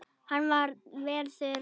Hann var vel þurr.